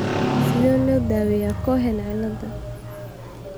Sidee loo daweeyaa Cohen ciilada?